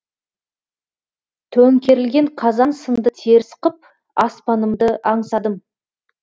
төңкерілген қазан сынды теріс қып аспанымды аңсадым